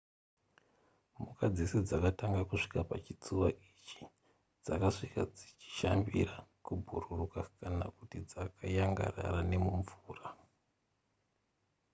mhuka dzese dzakatanga kusvika pachitsuwa ichi dzakasvika dzichishambira kubhururuka kana kuti dzakayangarara nemumvura